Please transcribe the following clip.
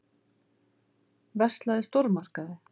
Verslað í stórmarkaði.